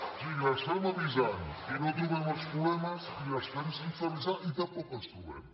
o sigui les fem avisant i no trobem els problemes i les fem sense avisar i tampoc els trobem